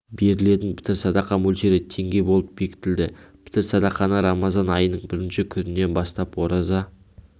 берілетін пітір садақа мөлшері теңге болып бекітілді пітір садақаны рамазан айының бірінші күнінен бастап ораза